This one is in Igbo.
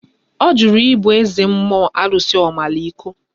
Ọ jụrụ ibu eze mmụọ arụsị Omaliko